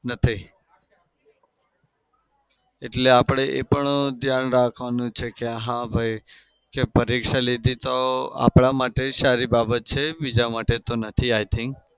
નથી. એટલે આપડે એ પણ ધ્યાન રાખવાનું છે કે હા ભાઈ પરીક્ષા લીધી તો આપડા માટે સારી બાબત છે. બીજા માટે તો નથી i think